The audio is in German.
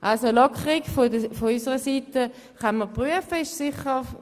Also, von uns aus kann eine Lockerung geprüft werden.